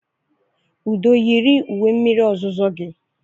Udo yiri uwe mmiri ozuzo gị.